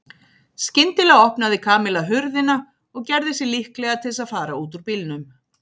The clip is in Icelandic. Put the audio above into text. Skyndilega opnaði Kamilla hurðina og gerði sig líklega til þess að fara út úr bílnum.